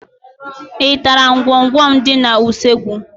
Ị tara ngwọngwọ m dị n'usekwu?